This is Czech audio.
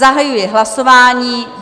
Zahajuji hlasování.